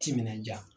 Timinandiya